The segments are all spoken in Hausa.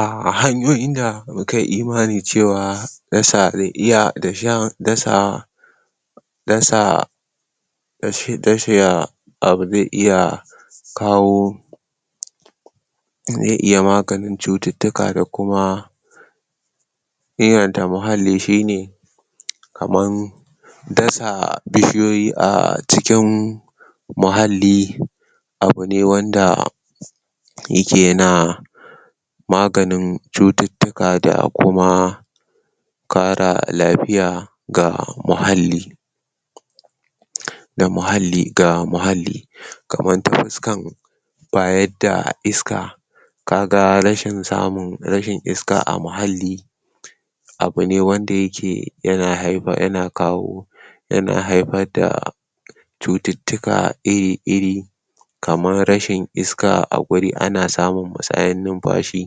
A hanyoyin da muka yi imani cewa dasa zai iya dashen dasa dasa dashe, dasha abu zai iya kaho zai iya maganin tsutittika da kuma cutittika da kuma inganta muhalli, shine kaman dasa bishiyoyi a cikin muhalli. Abu ne wanda abu ne wanda yake ya na maganin cutitiika da kuma kara lafiya ga mulalli da mulalli da mulalli ga mulalli. Kaman ta fuskan bayar da iska, kaga rashin samun rashin iska a muhalli abu ne wanda yake ya na haifan, ya na kaho ya na faifa da cutittika iri iri kaman rashin iska a guri. Ana samun musayen musayen nifashi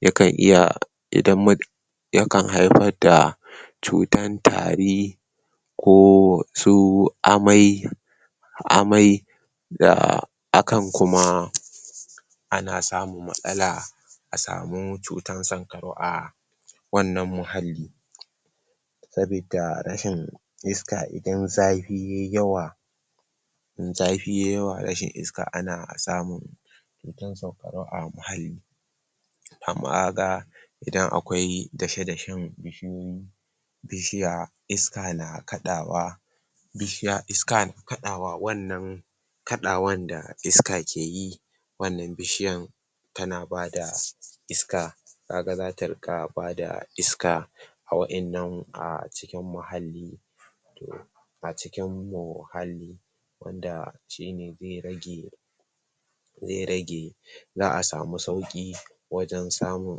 ya kan iya idan yakan haifad da cutar tari ko su amai amai da akan kuma ana samun matsala a samu tsutan sankarau a a wannan mulalli sabi da rashin iska. Idan zafi yayi yawa in zafi yayi yawa, rashin iska ana samun um tsutan sankarau a mulalli amma kaga idan akwai dashe dashen bishiyoyi bishiya iska na kadawa bishiya iska na kadawa, wannan kadawan da iska keyi wannan bishiyan ta na bada ta na bada iska. Ka ga za ta rinƙa ba da iska, ka ga za ta rinka bada iska a wadannan, a cikin mulalli. To a cikin mulalli wanda shine zai rage zai rage za samu sauƙi wajen samun,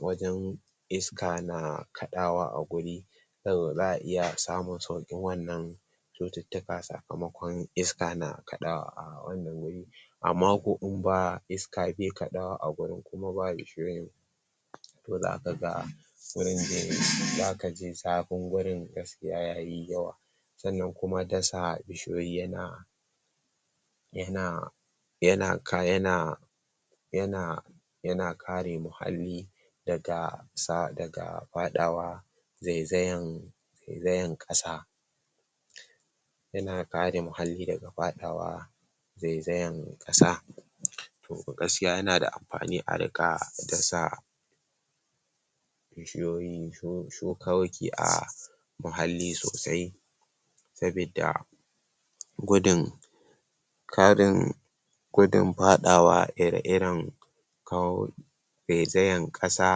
wajen iska na kadawa a guri za'a iya samun sauƙin wannan cutitika sakamakon iska na kadawa a wannan huri. Amma inda iska bai kadawa a hurin kuma ba bishiyoyin to za ka ga gurin zai, za ka ji zafin gurin gaskiya yayi yawa, san nan kuma dasa bishiyoyi ya na ya na ya na ka ya na ya na ya na kare mulalli daga daga faɗawa zai zayan zai zayan ƙasa ya na kare mulalli daga faɗawa zai zayan ƙasa to gaskiya ya na da amfani a rinka dasa bishiyoyi mulalli sosai sabi da gudun ƙarin gudun faɗawa ire iren kako zai zayen ƙasa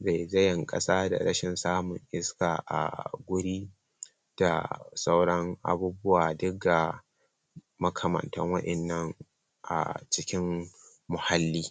zai zayen ƙasa da rashin samun iska a guri da sauran abubuwa duka makamantan wadannan cikin muhalli.